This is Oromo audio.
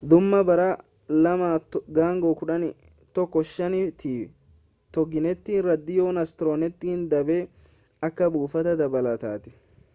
dhuma bara 2015 ti toginet raadiyoo astronet dhaabe akka buufata dabalataatti